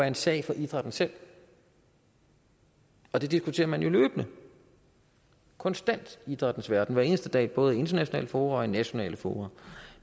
en sag for idrætten selv og det diskuterer man jo løbende og konstant i idrættens verden hver eneste dag både i internationale fora og i nationale fora